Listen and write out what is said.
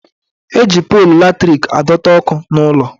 Eji polu latrik adọta ọkụ n'ụlọ